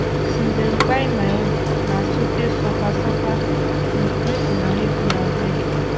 since dem kpai my husband na sote suffer suffer um make una helep me abeg